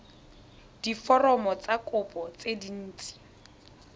diforomo tsa kopo tse dint